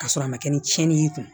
K'a sɔrɔ a ma kɛ ni tiɲɛni y'i kun